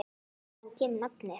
Hvaðan kemur nafnið?